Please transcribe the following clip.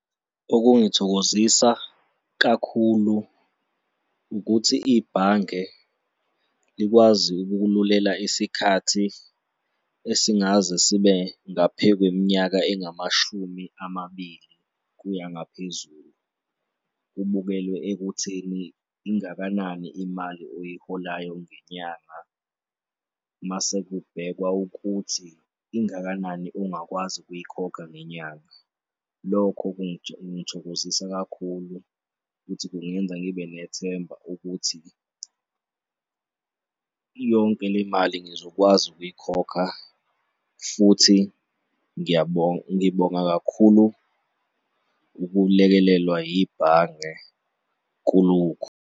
Okungangithokozisa kakhulu ukuthi ibhange likwazi ukukululela isikhathi esingaze sibe ngaphe kweminyaka engamashumi amabili kuya ngaphezulu kubukelwe ekutheni ingakanani imali oyiholayo ngenyanga mase kubhekwa ukuthi ingakanani ongakwazi ukuyikhokha ngenyanga. Lokho kungithokozisa kakhulu futhi kungenza ngibe nethemba ukuthi yonke le mali ngizokwazi ukuyikhokha futhi ngibonga kakhulu ukulekelelwa yibhange kulokhu.